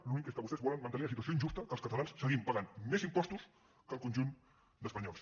l’únic és que vostès volen mantenir la situació injusta que els catalans seguim pagant més impostos que el conjunt d’espanyols